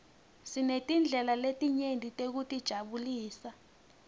sinetindlela letinyeti tekutijabulisa